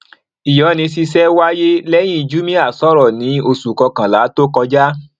ìyọni ṣiṣẹ wáyé lẹyìn jumia sọrọ ní oṣù kọkànlá tó kọjá